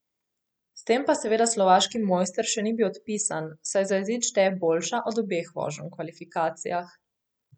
S tem pa seveda slovaški mojster še ni bil odpisan, saj za izid šteje boljša od obeh voženj v kvalifikacijah.